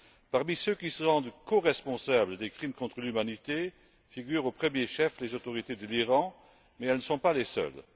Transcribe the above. Parmi ceux qui se rendent coresponsables des crimes contre l'humanité figurent au premier chef les autorités de l'Iran, mais elles ne sont pas les seules.